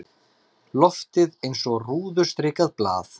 Loftið eins og rúðustrikað blað.